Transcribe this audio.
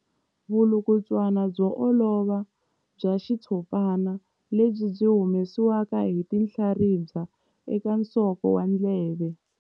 Vulukulutswana byo olova bya xitshopana lebyi byi humesiwaka hi tinhlaribya eka nsoko wa ndleve.